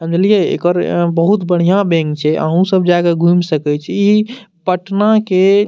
समझलिये एकर बहुत बढ़िया बैंक छै अउ सब जाएके घुम सके छै इ पटना के --